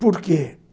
Por quê?